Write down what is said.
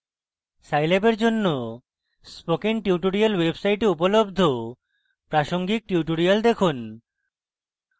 scilab for জন্য spoken tutorials website উপলব্ধ প্রাসঙ্গিক tutorials দেখুন